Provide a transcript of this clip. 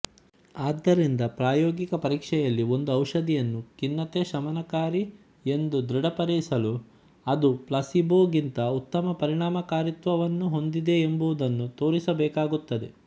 ಆದ್ದರಿಂದ ಪ್ರಾಯೋಗಿಕ ಪರೀಕ್ಷೆಯಲ್ಲಿ ಒಂದು ಔಷಧಿಯನ್ನು ಖಿನ್ನತೆಶಮನಕಾರಿ ಎಂದು ದೃಢಪಡಿಸಲು ಅದು ಪ್ಲಸೀಬೊಗಿಂತ ಉತ್ತಮ ಪರಿಣಾಮಕಾರಿತ್ವವನ್ನು ಹೊಂದಿದೆಯೆಂಬುದನ್ನು ತೋರಿಸಬೇಕಾಗುತ್ತದೆ